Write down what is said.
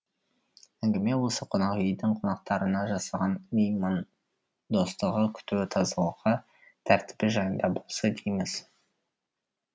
әңгіме осы қонақ үйдің қонақтарына жасаған меймандостығы күтуі тазалығы тәртібі жайында болса дейміз